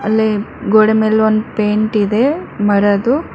ಅಲ್ಲೆ ಗೋಡೆಮೇಲ್ ಒಂದ್ ಪೈಂಟ್ ಇದೆ ಮರದು.